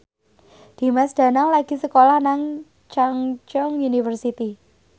Dimas Danang lagi sekolah nang Chungceong University